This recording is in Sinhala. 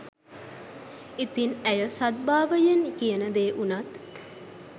ඉතින් ඇය සද්භාවයෙන් කියන දේ වුනත්